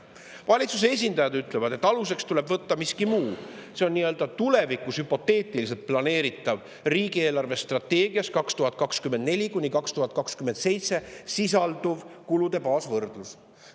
Valitsuse esindajad ütlevad, et aluseks tuleb võtta miski muu: see on tulevikus hüpoteetiliselt planeeritav, riigi eelarvestrateegias 2024–2027 sisalduv kulude baasvõrdlus.